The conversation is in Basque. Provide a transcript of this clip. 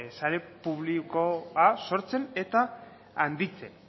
sare publikoa sortzen eta handitzen